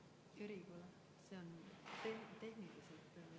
V a h e a e g